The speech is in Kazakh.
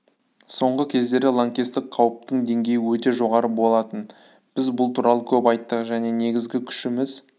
соңғы кездері лаңкестік қауіптің деңгейі өте жоғары болатын біз бұл туралы көп айттық және негізгі күшіміз